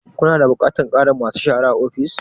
Ku na da buƙatar ƙarin ma su shara a ofis?